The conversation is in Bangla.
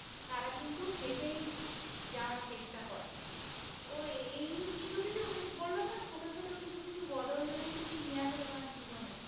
তারা কিন্তু হেঁটেই যাওয়ার চেষ্টা করে, ওই এই কিছু কিছু কিছু বললাম না চোট চোট কিছু কিছু বদল তুমি নিয়ে আসো তোমার জীবনে